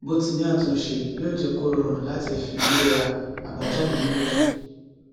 bọtíìnì àtúnṣe yóó jé kó rọrùn láti fiwéra abájáde méjèèjì